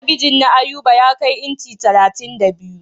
Talabijin na Ayuba ya kai inci talatin da biyu.